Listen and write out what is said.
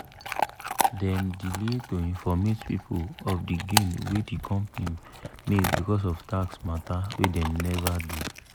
dem delay to informate people of di gain wey di company make becos of tax matter wey dem never do.